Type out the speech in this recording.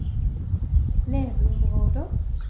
leveområder